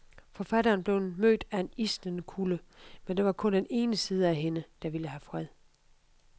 Forfatteren blev mødt af en isnende kulde. Men det var kun den ene side af hende, der ville have fred.